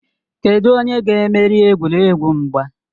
Kedụ onye ga-emeri egwuregwu mgba?